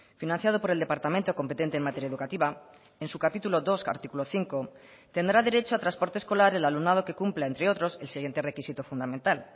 financiado por el departamento competente en materia educativa en su capítulo dos artículo cinco tendrá derecho a transporte escolar el alumnado que cumpla entre otros el siguiente requisito fundamental